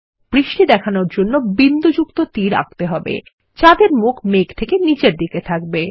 বৃষ্টি দেখানোর জন্য বিন্দুযুক্ত তীর আঁকতে হবে যাদের মুখ মেঘ থেকে নীচের দিকে থাকবে